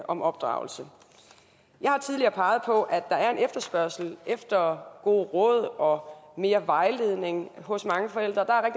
om opdragelse jeg har tidligere peget på at der er en efterspørgsel efter gode råd og mere vejledning hos mange forældre der